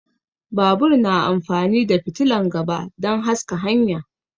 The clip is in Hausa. Babur na amfani da fitilan gaba dan haska hanya